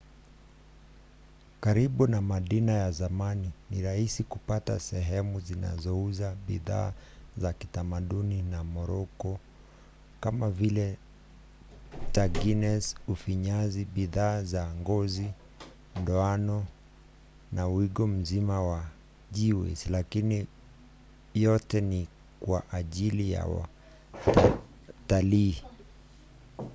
karibu na madina ya zamani ni rahisi kupata sehemu zinazouza bidhaa za kitamaduni za moroko kama vile tagines ufinyanzi bidhaa za ngozi ndoano na wigo mzima wa geegaws lakini yote ni kwa ajili ya watalii